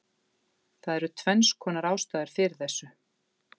Það eru tvennskonar ástæður fyrir þessu: